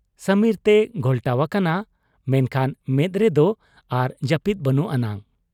ᱥᱟᱹᱢᱤᱨ ᱛᱮᱭ ᱜᱷᱚᱞᱴᱟᱣ ᱟᱠᱟᱱᱟ, ᱢᱮᱱᱠᱷᱟᱱ ᱢᱮᱫ ᱨᱮᱫᱚ ᱟᱨ ᱡᱟᱹᱯᱤᱫ ᱵᱟᱹᱱᱩᱜ ᱟᱱᱟᱝ ᱾